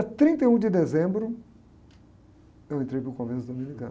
trinta e um de dezembro, eu entrei para o comércio dominicano.